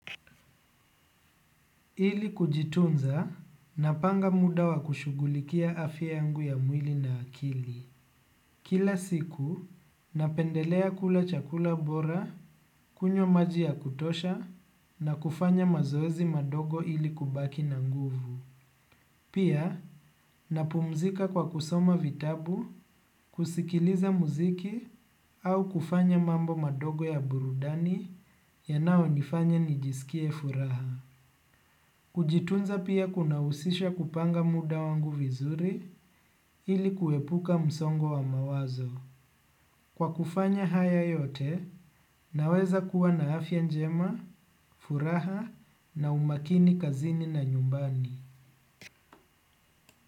Ili kujitunza, napanga muda wa kushugulikia afya yangu ya mwili na akili. Kila siku, napendelea kula chakula bora, kunywa maji ya kutosha, na kufanya mazoezi madogo ili kubaki na nguvu. Pia, napumzika kwa kusoma vitabu, kusikiliza muziki, au kufanya mambo madogo ya burudani yanayo nifanya nijisikie furaha. Kujitunza pia kuna husisha kupanga muda wangu vizuri ili kuepuka msongo wa mawazo. Kwa kufanya haya yote, naweza kuwa na afya njema, furaha na umakini kazini na nyumbani.